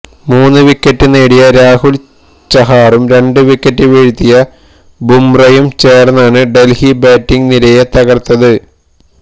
മൂന്ന് വിക്കറ്റ് നേടിയ രാഹുല് ചഹാറും രണ്ട് വിക്കറ്റ് വീഴ്ത്തിയ ബുംറയും ചേര്ന്നാണ് ഡല്ഹി ബാറ്റിംഗ് നിരയെ തകര്ത്തത്